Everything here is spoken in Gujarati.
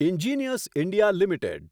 engineers India limited